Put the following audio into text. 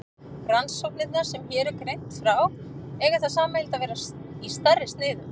Rannsóknirnar sem hér er greint frá eiga það sameiginlegt að vera stærri í sniðum.